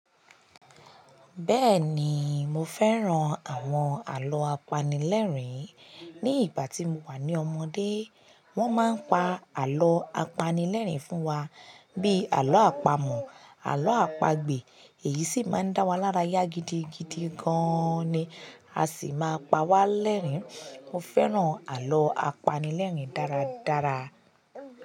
Bẹ́ẹ̀ni, mo fẹ́ran àwọn àlọ́ apanilẹ́rìn. Ni ìgbà tí mo wà ní ọmọdé, wọ́n máa ń pa àlọ́ apanilẹ́rìn fún wa bíi àlọ́ àpamọ̀, àlọ́ àpagbè, èyí sì máa ń dá wa lára yá gidigidi gan ni a sì máa ń pawá lẹ́rìn-ín. Mo fẹ́ran àlọ́ apanilẹ́rìn dáradára.